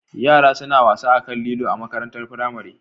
Yara suna wasa akan lilo a makarantar firamare